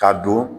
K'a don